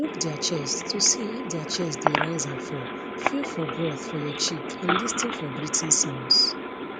look dia chest to see if dia chest dey rise and fall feel for breath for your cheek and lis ten for breathing sounds